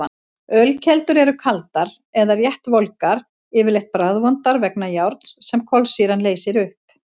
Ölkeldur eru kaldar eða rétt volgar, yfirleitt bragðvondar vegna járns sem kolsýran leysir upp.